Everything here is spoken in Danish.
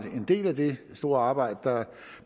en del af det store arbejde der